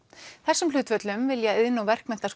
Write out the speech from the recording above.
þessum hlutföllum vilja iðn og